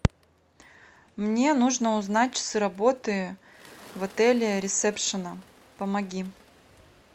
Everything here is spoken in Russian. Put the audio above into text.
мне нужно узнать часы работы в отеле ресепшена помоги